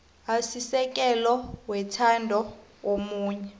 asisekelo wethando omunye